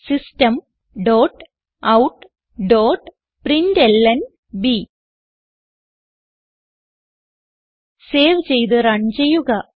system dot out dot println save ചെയ്ത് run ചെയ്യുക